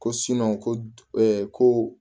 Ko ko